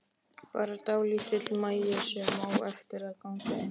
Bara dálítill magi sem á eftir að ganga inn.